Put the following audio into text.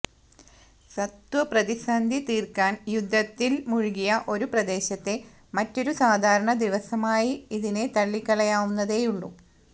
സത്വപ്രതിസന്ധി തീര്ക്കാന് യുദ്ധത്തില് മുഴുകിയ ഒരു പ്രദേശത്തെ മറ്റൊരു സാധാരണ ദിവസമായി ഇതിനെ തള്ളിക്കളയാവുന്നതേയുള്ളൂ